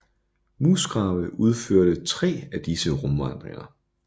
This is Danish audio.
Musgrave udførte 3 af disse rumvandringer